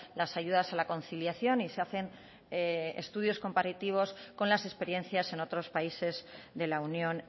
las ayudas a la conciliación y se hacen estudios comparativos con las experiencias en otros países de la unión